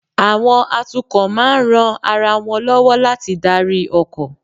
Àwọn atukọ̀ máa ń ran ara wọn lọ́wọ́ láti darí ọkọ̀